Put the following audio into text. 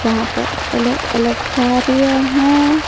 जहां पर अलग अलग कार्य हैं।